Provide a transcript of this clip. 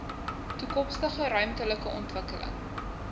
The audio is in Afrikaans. toekomstige ruimtelike ontwikkeling